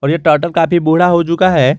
और ये टर्टल काफी बूढ़ा हो चुका है।